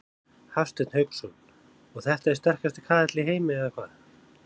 Hafsteinn Hauksson: Og þetta er sterkasti kaðall í heimi eða hvað?